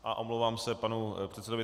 A omlouvám se panu předsedovi.